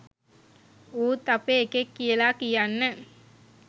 ඌත් අපේ එකෙක් කියලා කියන්න